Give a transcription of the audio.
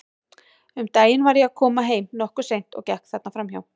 Um daginn var ég að koma heim, nokkuð seint, og gekk þarna fram hjá.